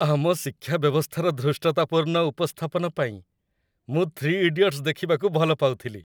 ଆମ ଶିକ୍ଷା ବ୍ୟବସ୍ଥାର ଧୃଷ୍ଟତାପୂର୍ଣ୍ଣ ଉପସ୍ଥାପନ ପାଇଁ ମୁଁ "3 ଇଡିୟଟ୍ସ" ଦେଖିବାକୁ ଭଲପାଉଥିଲି।